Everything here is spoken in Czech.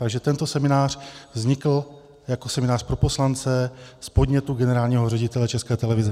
Takže tento seminář vznikl jako seminář pro poslance z podnětu generálního ředitele České televize.